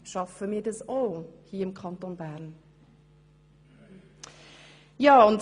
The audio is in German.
Schaffen wir das hier im Kanton Bern auch?